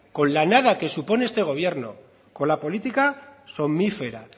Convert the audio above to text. con la nada que supone este gobierno con la política somnífera